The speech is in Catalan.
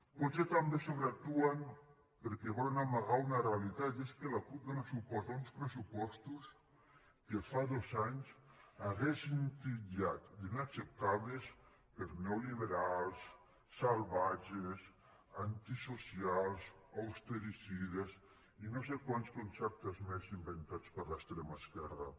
potser també sobreactuen perquè volen amagar una realitat i és que la cup dona suport a uns pressupostos que fa dos anys haurien titllat d’inacceptables per neoliberals salvatges antisocials austericides i no sé quants conceptes més inventats per l’extrema esquerra